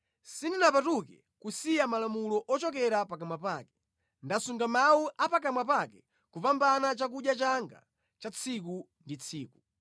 Sindinapatuke kusiya malamulo ochokera pakamwa pake; ndasunga mawu a pakamwa pake kupambana chakudya changa cha tsiku ndi tsiku.